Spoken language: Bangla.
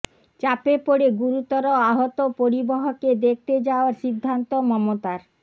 চাপে পড়ে গুরুতর আহত পরিবহকে দেখতে যাওয়ার সিদ্ধান্ত মমতার